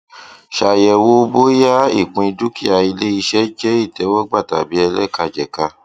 ṣayẹwo bóyá ìpín dúkìá iléiṣẹ jẹ ìtẹwọgbà tàbí ẹlẹkajẹka